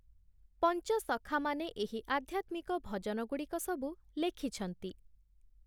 ପଞ୍ଚସଖାମାନେ ଏହି ଆଧ୍ୟାତ୍ମିକ ଭଜନଗୁଡ଼ିକ ସବୁ ଲେଖିଛନ୍ତି ।